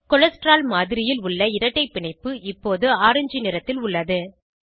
cholesterol மாதிரியில் உள்ள இரட்டை பிணைப்பு இப்போது ஆரஞ்ச் நிறத்தில் உள்ளது